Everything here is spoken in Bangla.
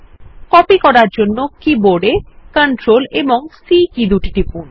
কীবোর্ড এ কপি করার জন্য Ctrl ও C কী দুটি টিপুন